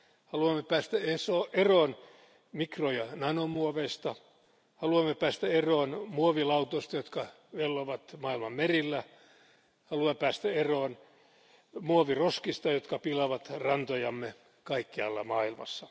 Haluamme päästä eroon mikro ja nanomuoveista, haluamme päästä eroon muovilautoista, jotka vellovat maailman merillä, haluamme päästä eroon muoviroskista, jotka pilaavat rantojamme kaikkialla maailmassa.